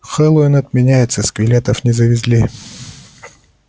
хэллоуин отменяется скелетов не завезли